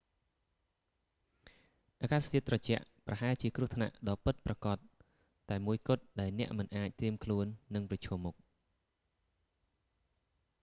អាកាសធាតុត្រជាក់ ប្រហែលជាគ្រោះថ្នាក់ដ៏ពិតប្រាកដតែមួយគត់ ដែលអ្នកមិនបានត្រៀមខ្លួននឹងប្រឈមមុខ